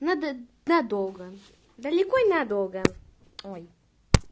надо надолго далеко и надолго ой